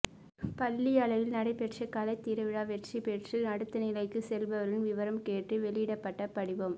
பள்ளி அளவில் நடைபெற்ற கலைத்திருவிழா வெற்றி பெற்று அடுத்த நிலைக்கு செல்பவர்களின் விவரம் கேட்டு வெளியிடப்பட்ட படிவம்